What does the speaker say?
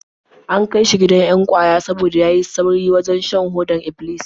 An kai shi gidan 'yan ƙwaya saboda ya yi tsauri wajen shan hodar Iblis.